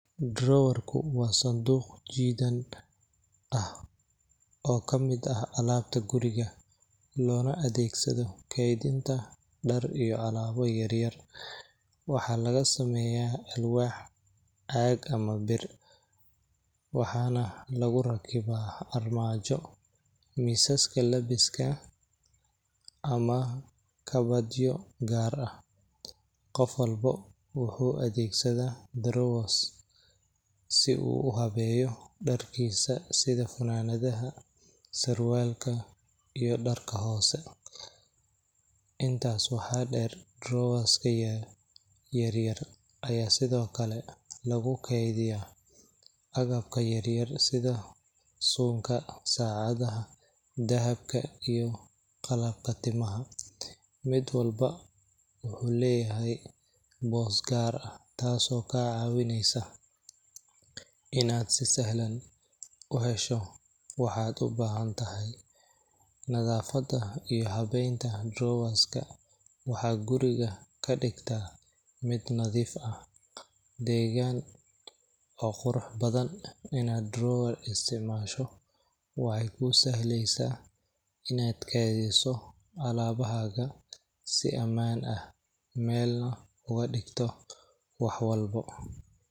Drowarku waa sanduuq jiidan ah, oo kamid ah alaabta guriga, loona adeegsado keedinta dar iyo alaabo yaryar, waxaa laga sameeya alwaax, caag ama bir, waxaana lagu rakibaa armaajo, misaska labiska ama kabadyo gaar ah, qof walbo wuxuu adeegsadaa drowga si uu uhabeeyo darkiisa sida funanadaha, surwaalka iyo darka hoose, intaas waxaa deer drowaaska yaryar ayaa sido kale lagu keediya agabka yaryar sida, suunka, sacadaha, dahabka iyo qalabka timaha, mid walbo wuxuu leyahay boos gaar ah taas oo kaa caawineysa inaad si sahlan uhesho waxaad ubahan tahay, nadafada iyo habeenta drowaska waxaa guriga kadigtaa mid nadiif ah, degaan oo qurux badan inaad drowar isticmaasho waxeey kuu sahleysa inaad keediso alaabahaga si amaan ah, meelna uga digto wax walbo.